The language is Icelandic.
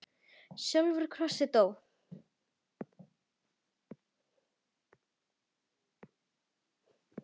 sjálfur á krossi dó.